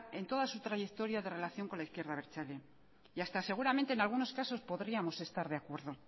en toda su trayectoria de relación con la izquierda abertzale y hasta seguramente en algunos casos podríamos estar de acuerdo